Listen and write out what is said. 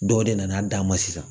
Dɔ de nana dan ma sisan